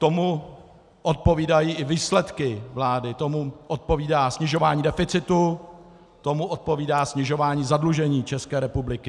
Tomu odpovídají i výsledky vlády, tomu odpovídá snižování deficitu, tomu odpovídá snižování zadlužení České republiky.